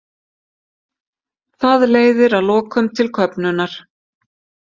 Það leiðir að lokum til köfnunar.